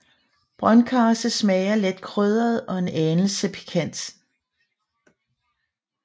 Brøndkarse smager let krydret og en anelse pikant